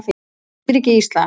lífríki íslands